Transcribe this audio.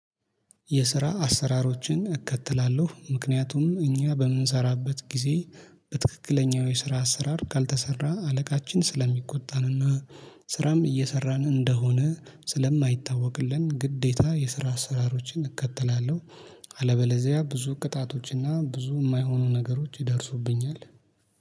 የስራ አሰራሮችን እከተላለሁ ምክንያቱም እኛ በምንሰራበት ጊዜ በትክክለኛው የስራ አሰራር ካልተሰራ አለቃችን ስለሚቆጣንና ስራም እየሰራን እንደሆነ ስለማይታወቅልን ግዴታ የስራ አስራሮችን እከተላለሁ። አለበለዚያ ብዙ ቅጣቶችና ብዙ የማይሆኑ ነገሮች ይደርሱብኛል።